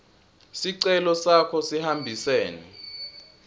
sicelo sakho sihambisene